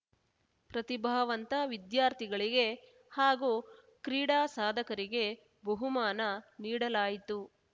ಪ್ರತಿಭಾವಂತ ವಿದ್ಯಾರ್ಥಿಗಳಿಗೆ ಹಾಗೂ ಕ್ರೀಡಾ ಸಾಧಕರಿಗೆ ಬಹುಮಾನ ನೀಡಲಾಯಿತು